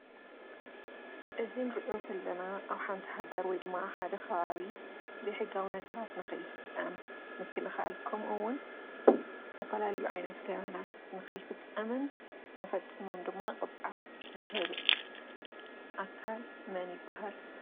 እዚ ንሪኦ ዘለና ኣብ ሃንቲ ሃገር ወይ ድማ ኣብ ሓደ ከባቢ ዘይሕጋዊ ነገራት ንኸይፍፀም ምክልኻል ኸምኡውን ዝተፈላለዩ ዓይነት ገበናት ንኸይፍፀምን እንተፈፂሞም ድማ ቅፅዓት ዝህብ ኣካል መን ይበሃል?